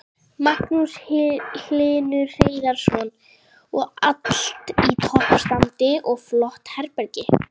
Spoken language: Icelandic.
Magnús Hlynur Hreiðarsson: Og allt í toppstandi og flott herbergi?